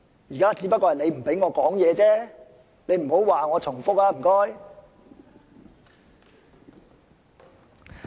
現在只是你不讓我發言，請你不要說我重複。